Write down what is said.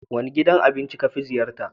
Wane gidan abinci ka fi ziyarta?